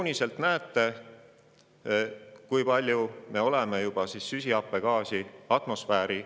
[Kuigi 2024. aasta on juba üleilmsena 1,5 kraadi soojem võrreldes tööstuseelse ajaga, ei tähenda see veel 1,5-kraadist soojenemist pikemaajaliselt.